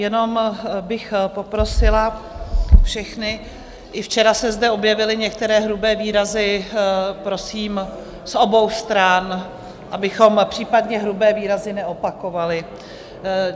Jenom bych poprosila všechny, i včera se zde objevily některé hrubé výrazy, prosím z obou stran, abychom případně hrubé výrazy neopakovali.